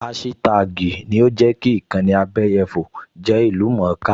Áṣítá́àgì ni ó jẹ́ kí ìkànnì abẹyẹfò jẹ́ ìlú-mọ̀-ọ́n-ká